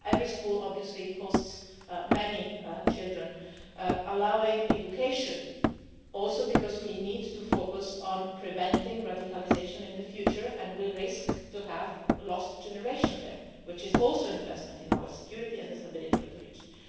Every school obviously hosts many children, allowing education, because we also need to focus on preventing radicalisation in the future, and we risk having a lost generation there, which is also an investment in our security and the stability of the region.